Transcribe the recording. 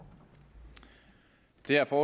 derfor